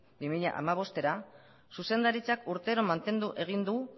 bi mila hamabostera zuzendaritzak urtero mantendu egin du